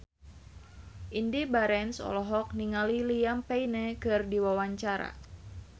Indy Barens olohok ningali Liam Payne keur diwawancara